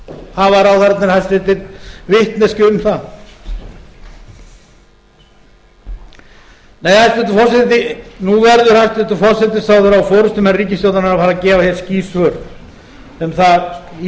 hafa ráðherrarnir hæstvirtur vitneskju um það nei hæstvirtur forseti nú verður hæstvirtur forsætisráðherra og forustumenn ríkisstjórnarinnar að fara að gefa hér skýr svör um það í